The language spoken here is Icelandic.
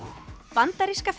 bandaríska